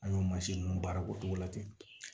An y'o mansin ninnu baara ko cogo la ten